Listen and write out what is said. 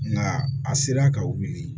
Nka a sera ka wuli